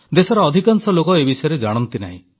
ଦେଶର ଅଧିକାଂଶ ଲୋକ ଏ ବିଷୟରେ ଜାଣନ୍ତି ନାହିଁ